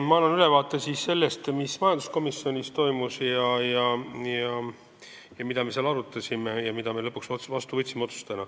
Ma annan ülevaate sellest, mis toimus majanduskomisjonis, mida me seal arutasime ja mida me lõpuks otsustena vastu võtsime.